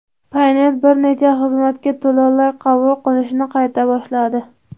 Paynet bir necha xizmatga to‘lovlar qabul qilishni qayta boshladi.